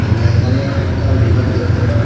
আমি এখানে রিভার দেখতে পাচ্ছি।